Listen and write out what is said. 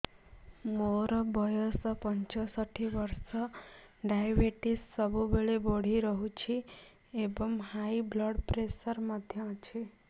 ମୋର ବୟସ ପଞ୍ଚଷଠି ବର୍ଷ ଡାଏବେଟିସ ସବୁବେଳେ ବଢି ରହୁଛି ଏବଂ ହାଇ ବ୍ଲଡ଼ ପ୍ରେସର ମଧ୍ୟ ଅଛି